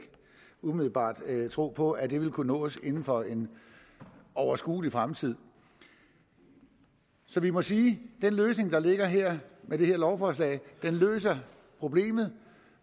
umiddelbart en tro på at det vil kunne nås inden for en overskuelig fremtid så vi må sige at den løsning der ligger her med det her lovforslag løser problemet